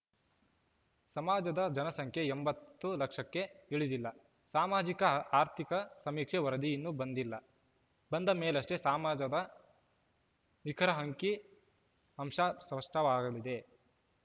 ಸಮಾಜದ ಜನಸಂಖ್ಯೆ ಎಂಬತ್ತು ಲಕ್ಷಕ್ಕೆ ಇಳಿದಿಲ್ಲ ಸಾಮಾಜಿಕ ಆರ್ಥಿಕ ಸಮೀಕ್ಷೆ ವರದಿ ಇನ್ನೂ ಬಂದಿಲ್ಲ ಬಂದ ಮೇಲಷ್ಟೇ ಸಮಾಜದ ನಿಖರ ಅಂಕಿಅಂಶ ಸ್ಪಷ್ಟವಾಗಲಿದೆ